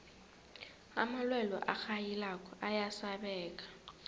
amalwelwe arhayilako ayasabeka